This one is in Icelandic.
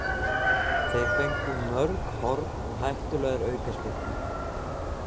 Þeir fengu mörg horn og hættulegar aukaspyrnur.